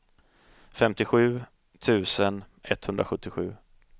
femtiosju tusen etthundrasjuttiosju